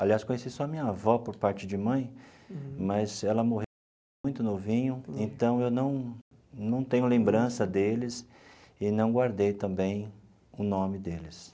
Aliás, conheci só minha avó por parte de mãe, mas ela morreu muito novinho, então eu não não tenho lembrança deles e não guardei também o nome deles.